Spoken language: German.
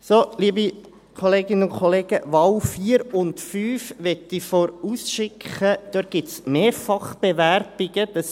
So, liebe Kolleginnen und Kollegen, bei Wahl 4 und 5 möchte ich vorausschicken, dass es Mehrfachbewerbungen gibt.